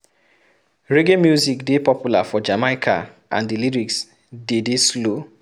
Reggae music dey popular for Jamaica and di lyrics de dey slow